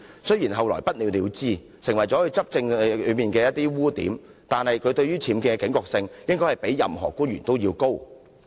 雖然其後不了了之，而這亦成為她執政的污點，但她對僭建的警覺性理應較其他官員為高。